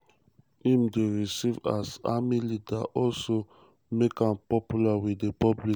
im dey receive as army leader also make am popular wit di public.